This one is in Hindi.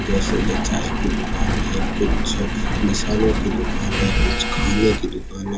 जैसे की चाय की दुकान है कुछ मसालो की दुकान है कुछ खाने की दुकान--